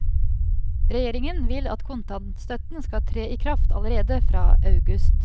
Regjeringen vil at kontantstøtten skal tre i kraft allerede fra august.